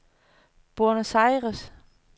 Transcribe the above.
Buenos Aires